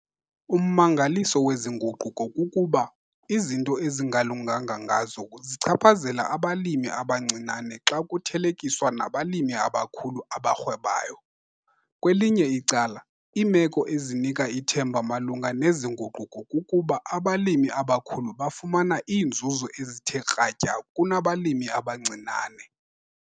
Ummangaliso wezi nguquko kukuba, izinto ezingalunganga ngazo zichaphazela abalimi abancinane xa kuthelekiswa nabalimi abakhulu abarhwebayo. Kwelinye icala, iimeko ezinika ithemba malunga nezi nguquko kukuba abalimi abakhulu bafumana iinzuzo ezithe kratya kunabalimi abancinane.